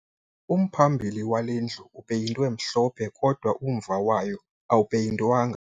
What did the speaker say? Umphambili wale ndlu upeyintwe mhlophe kodwa umva wayo awupeyintwanga